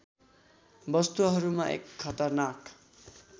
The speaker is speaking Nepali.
वस्तुहरूमा एक खतरनाक